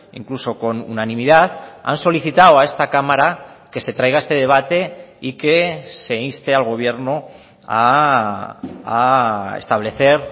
incluso con unanimidad han solicitado a esta cámara que se traiga este debate y que se inste al gobierno a establecer